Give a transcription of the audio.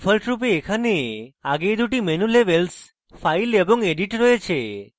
ডিফল্টরূপে এখানে আগেই দুটি menu labels file এবং edit রয়েছে